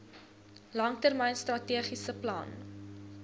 langtermyn strategiese plan